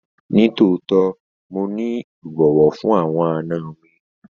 Nitootọ, Mo ni ibọwọ fun awọn àna mi